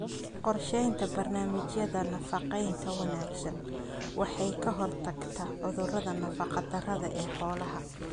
Qorsheynta barnaamijyada nafaqeynta wanaagsan waxay ka hortagtaa cudurrada nafaqa-darrada ee xoolaha.